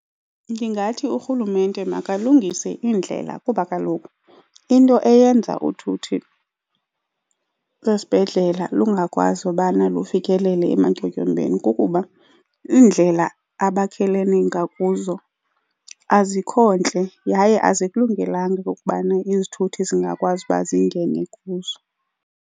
Ndingathi urhulumente makulungiswe iindlela kuba kaloku into eyenza uthuthi lwesibhedlele lungakwazi ukubana lufikelele ematyotyombeni kukuba iindlela abakhelene ngakuzo azikho ntle yaye azikulungelanga okubana izithuthi zingakwazi uba zingene kuzo.